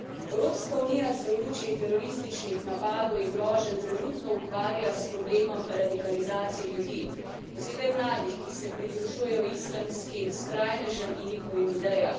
Evropska unija se v luči terorističnih napadov in groženj trenutno ukvarja s problemom radikalizacije ljudi, posebej mladih, ki se pridružujejo islamskim skrajnežem in njihovim idejam.